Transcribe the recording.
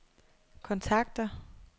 kontakter